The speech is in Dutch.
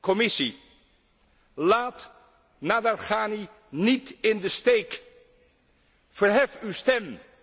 Commissie, laat Nadarkhani niet in de steek! Verhef uw stem!